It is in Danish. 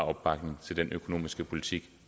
opbakning til den økonomiske politik